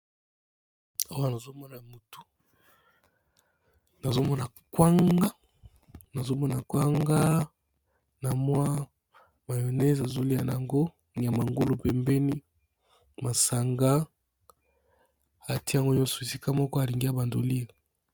Awa nazomona motu nazomona kwanga na mwa mayones azolia yango nyama ngulu pembeni masanga atiyango nyonso esika moko alingi ya bandi kolia.